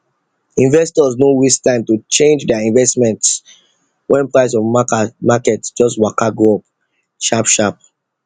investors no waste time to change their investments when price of market just waka go up sharp sharp